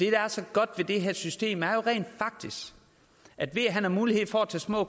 er så godt ved det her system er jo at ved at han har mulighed for at tage små